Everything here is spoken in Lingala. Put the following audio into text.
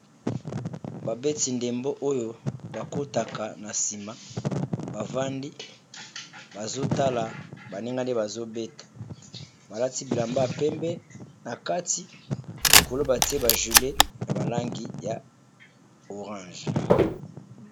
Ba beti ndembo oyo bakotaka na sima bavandi basotala baninga ndenge baso beta balati bilamba ya pembe nati likolo batiye ba jile ya langi ya lilala .